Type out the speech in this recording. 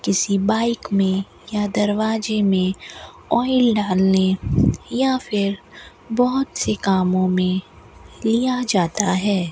किसी बाइक में या दरवाजे में ऑयल डालने या फिर बहोत से कामों में लिया जाता है।